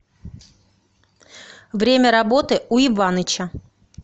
время работы у иваныча